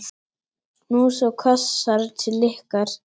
Knús og kossar til ykkar.